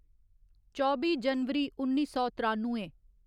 चौबी जनवरी उन्नी सौ त्रानुए